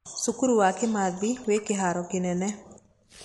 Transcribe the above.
Cukuru wa Kimathi wĩ kĩharo kĩnene.